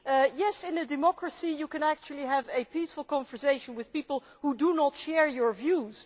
Yes, in a democracy you can actually have a peaceful conversation with people who do not share your views.